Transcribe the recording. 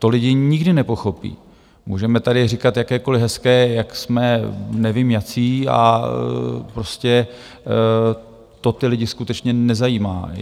To lidi nikdy nepochopí, můžeme tady říkat jakékoliv hezké - jak jsme nevím jací, a prostě to ty lidi skutečně nezajímá.